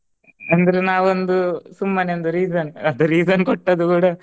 ಅಂದ್ರೆ ನಾವು ಒಂದು ಸುಮ್ಮನೆ ಒಂದು reason ಅದು reason ಕೊಟ್ಟದ್ದು ಕೂಡಾ